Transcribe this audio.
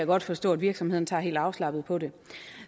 godt forstå at virksomhederne tager helt afslappet på det